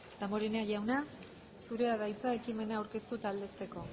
damborenea jauna zurea da hitza ekimena aurkeztu eta aldezteko